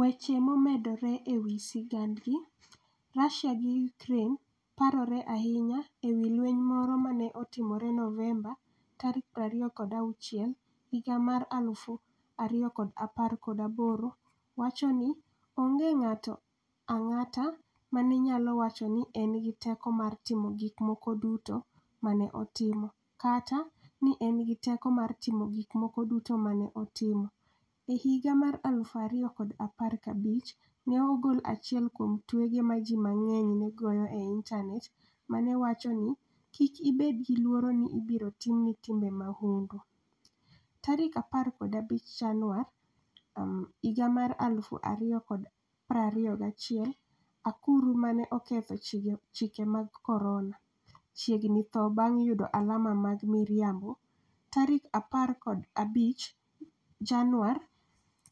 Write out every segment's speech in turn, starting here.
Weche momedore e wi sigandgi: Russia gi Ukraine parore ahinya e wi lweny moro ma ne otimore Novemba 26, 2018 Owacho ni, "Onge ng'ato ang'ata ma ne nyalo wacho ni ne en gi teko mar timo gik moko duto ma ne otimo, kata ni ne en gi teko mar timo gik moko duto ma ne otimo". E higa mar 2015, ne ogol achiel kuom twege ma ji mang'eny ne goyo e Intanet ma ne wacho ni, "Kik ibed gi luoro ni ibiro timni timbe mahundu". 15 Januar 2021 Akuru 'ma ne oketho chike mag corona' chiegni tho bang' yudo alama mag miriambo 15 Januar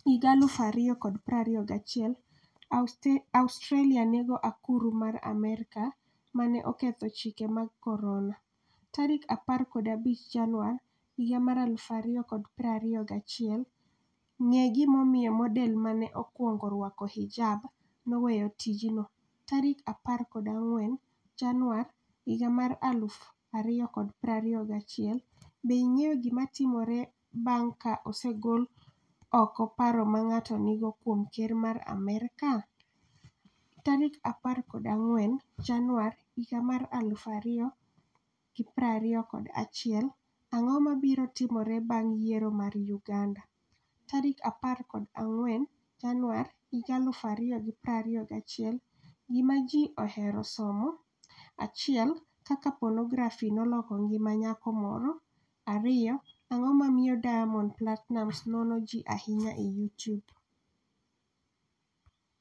2021 Australia nego akuru mar Amerka 'ma ne oketho chike mag corona' 15 Januar 2021 Ng'e gimomiyo model ma ne okwongo rwako hijab 'noweyo tijno'14 Januar 2021 Be ing'eyo gima timore bang ' ka osegol oko paro ma ng'ato nigo kuom ker mar Amerka? 14 Januar 2021 Ang'o mabiro timore bang' yiero mar Uganda? 14 Januar 2021 Gima Ji Ohero Somo 1 Kaka Ponografi Noloko Ngima Nyako Moro 2 Ang'o Momiyo Diamond Platinumz Nono Ji Ahinya e Youtube?